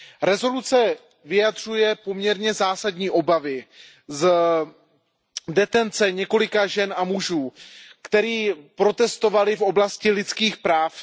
Rezoluce vyjadřuje poměrně zásadní obavy z detence několika žen a mužů, kteří protestovali v oblasti lidských práv.